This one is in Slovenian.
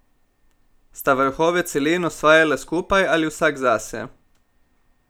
Sta vrhove celin osvajala skupaj ali vsak zase?